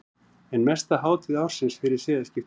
Ein mesta hátíð ársins fyrir siðaskipti.